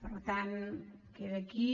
per tant queda aquí